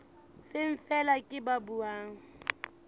seng feela ke ba buang